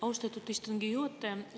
Austatud istungi juhataja!